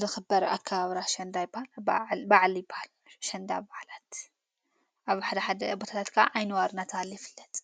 ልኽበር ኣካብራ ሸንዳ ኣይጳል በዓሊይጳል ሸንዳ በዓላት ኣብ ሓ ቦታላትካዓ ዓይንዋር ናታለይፍለጥ::